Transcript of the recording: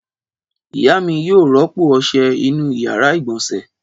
Ìyá mi yóò rọ́pò ọṣẹ inú ìyàrá-ìgbọ̀nsẹ̀.